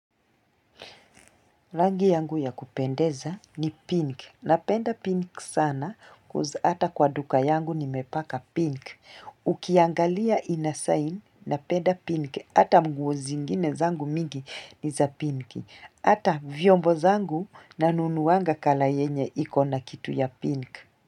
Rangi yangu ya kupendeza ni pink. Napenda pink sana coz ata kwa duka yangu nimepaka pink. Ukiangalia inasign, napenda pink. Hata nguo zingine zangu mingi ni za pink. Hata vyombo zangu nanunuanga kala yenye ikona kitu ya pink.